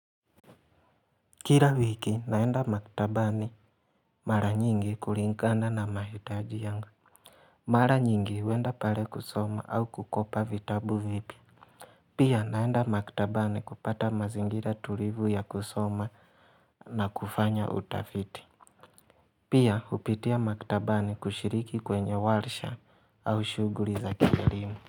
Kila wiki naenda maktabani mara nyingi kulingana na mahitaji yangu Mara nyingi huenda pale kusoma au kukopa vitabu vipya Pia naenda maktabani kupata mazingira tulivu ya kusoma na kufanya utafiti Pia hupitia maktabani kushiriki kwenye warsha au shughuli za kielimu.